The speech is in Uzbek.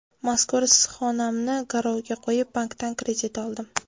Mazkur issiqxonamni garovga qo‘yib, bankdan kredit oldim.